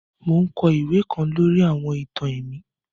Mo n kọ iwe kan lori àwọn ìtàn ẹ̀mí